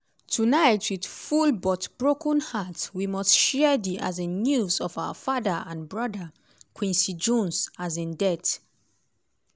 "tonight wit full but broken hearts we must share di um news of our father and brother quincy jones’ um death.